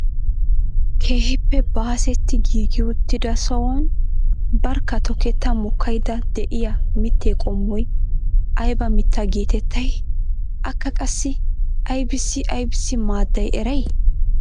Keehippe baasetti giigi uttida sohuwaan barkka toketta mokkaydda de'iyaa mittee qommoy ayba mitta getettayii? Akka qassi aybissi aybissi maadday eray?